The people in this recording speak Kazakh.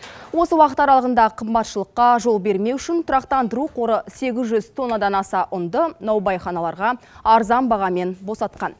осы уақыт аралығында қымбатшылыққа жол бермеу үшін тұрақтандыру қоры сегіз жүз тоннадан аса ұнды наубайханаларға арзан бағамен босатқан